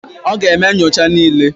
Ọ ga-eme nyocha niile.